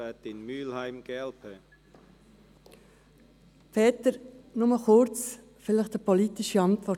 Peter Siegenthaler, nur kurz, vielleicht eine politische Antwort.